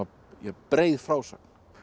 breið frásögn